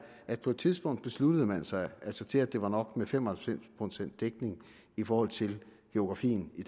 at på et tidspunkt besluttede man sig altså til at det var nok med fem og halvfems procent dækning i forhold til geografien i